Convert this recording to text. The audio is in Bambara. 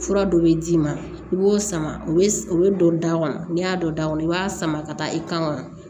Fura dɔ bɛ d'i ma i b'o sama o bɛ o bɛ don da kɔnɔ n'i y'a dɔn da kɔnɔ i b'a sama ka taa i kan kɔnɔ